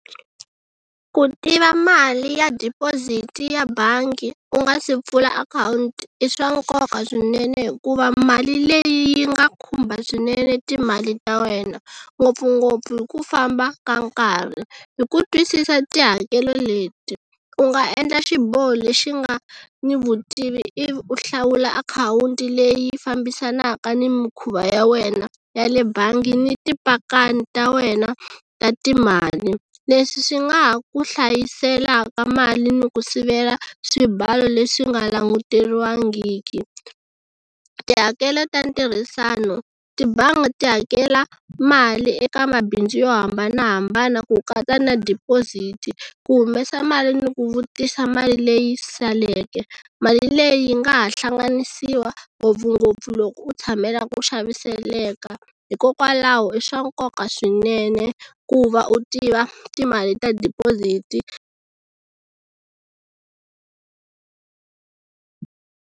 Ku tiva mali ya deposit-i ya bangi u nga si pfula akhawunti i swa nkoka swinene hikuva mali leyi yi nga khumba swinene timali ta wena ngopfungopfu hi ku famba ka nkarhi hi ku twisisa tihakelo leti u nga endla xiboho lexi nga ni vutivi ivi u hlawula akhawunti leyi fambisanaka ni mikhuva ya wena ya le bangi ni tipakani ta wena ta timali. Leswi swi nga ha ku hlayiselaka mali ni ku sivela swibalo leswi nga languteriwangiki. Tihakelo ta ntirhisano tibangi ti hakela mali eka mabindzu yo hambanahambana ku katsa na deposit-i ku humesa mali ni ku vutisa mali leyi saleke mali leyi yi nga ha hlanganisiwa ngopfungopfu loko u tshamela ku xaviseleka hikokwalaho i swa nkoka swinene ku va u tiva timali ta deposit-i.